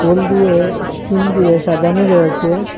হল দিয়ে ইস্কিন দিয়ে সাজানো রয়েসে।